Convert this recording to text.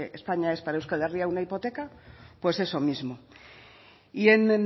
que españa es para euskal herria una hipoteca pues eso mismo y en